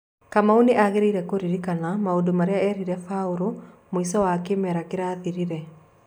Kamau nĩ angĩrĩire kũririkana maũndũ marĩa erire Baurũ mwĩco wa kĩmera kĩrathirire.